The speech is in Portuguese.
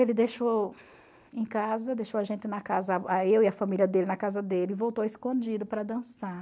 Ele deixou em casa, deixou a gente na casa, eu e a família dele na casa dele, voltou escondido para dançar.